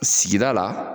Sigida la